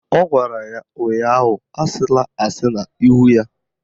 Ọ gwara ya ụnyaahụ "Asịla asị n'ihu ya"!